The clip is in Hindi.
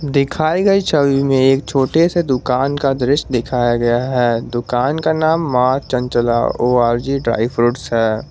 दिखाई गई छवि में एक छोटे से दुकान का दृश्य दिखाया गया है दुकान का नाम Maa Chanchala O R G dry fruits है।